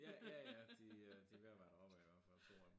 Ja ja ja de øh de ved at være der op ad i hvert fald 2 af dem